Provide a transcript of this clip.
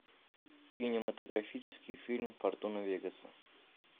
кинематографический фильм фортуна вегаса